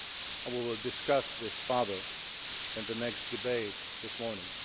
I will discuss this further in the next debate this morning.